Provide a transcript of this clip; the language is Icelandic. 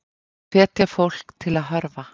Hvetja fólk til að hörfa